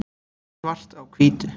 svart á hvítu